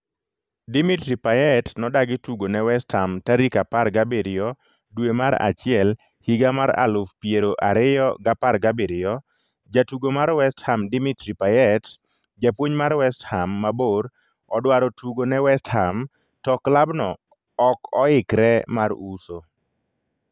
Dimitri Payet nodagi tugo ne west ham tarik apar gariyo dwe mar achiel higa mar aluf piero ariyo gapar gabiriyio Jatugo mar west ham Dimitri payet Japuonj mar west ham mabor odwaro tugo ne West Ham, to klabno ok oikre mar uso.